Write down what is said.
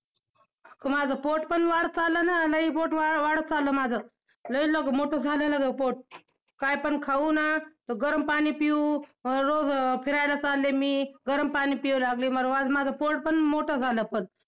माझं पोट पण वाढत चाललं ना~, लय पोट वाढ~ वाढत चाललं माझं! लय मोठं झालं ना ग पोट! काय पण खाऊ ना~ गरम पाणी पिऊ, अं रोज फिरायला चालले मी, गरम पाणी पिऊ लागले मी, माझं पोट पण मोठं झालं पण.